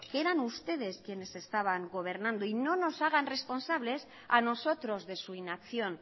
que eran ustedes quienes estaban gobernando y no nos hagan responsables a nosotros de su inacción